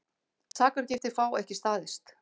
Sakargiftir fá ekki staðist